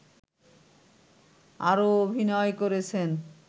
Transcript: আরো অভিনয় করেছেন